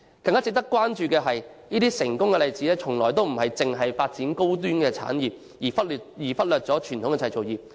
更加值得關注的是，這些成功國家的例子從來不是只發展高端產業而忽略傳統製造業。